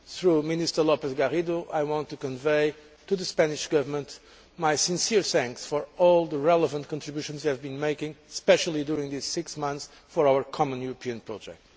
Through Minister López Garrido, I want to convey to the Spanish Government my sincere thanks for all the relevant contributions he has been making, especially during this six months, for our common European project.